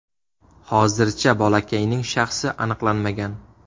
Hozircha bolakayning shaxsi aniqlanmagan.